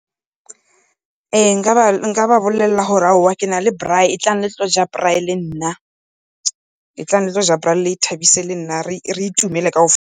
Ee, nka ba bolelela gore aowa ke na le braai etlang le tle go ja braai le nna, etlang le tle go ja braai le ithabise le nna re itumele .